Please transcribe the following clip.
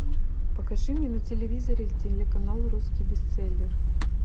покажи мне на телевизоре телеканал русский бестселлер